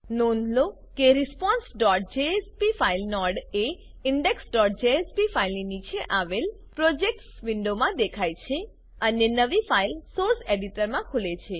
નોંધ લો કે responseજેએસપી ફાઈલ નોડ એ indexજેએસપી ફાઈલની નીચે આવેલ પ્રોજેક્ટ્સ વિન્ડોમાં દેખાય છે અને નવી ફાઈલ સોર્સ એડિટરમાં ખુલે છે